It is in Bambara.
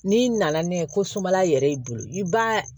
N'i nana n'a ye ko sumala yɛrɛ y'i bolo i b'a